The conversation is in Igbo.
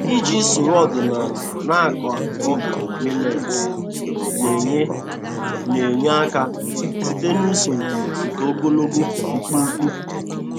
Iji usoro ọdịnala na-akọ ọka milet na-enye na-enye aka site n'usoro nke ogologo mkpumkpu.